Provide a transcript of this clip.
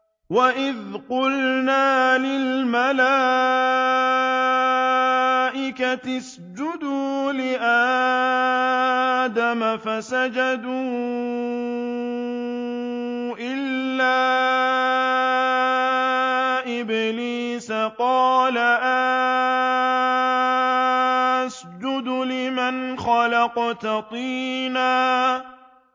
وَإِذْ قُلْنَا لِلْمَلَائِكَةِ اسْجُدُوا لِآدَمَ فَسَجَدُوا إِلَّا إِبْلِيسَ قَالَ أَأَسْجُدُ لِمَنْ خَلَقْتَ طِينًا